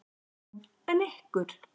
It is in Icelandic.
Guðrún: En ykkur?